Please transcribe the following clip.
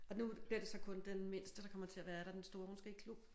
Og nu bliver det så kun den mindste der kommer til at være der den store hun skal i klub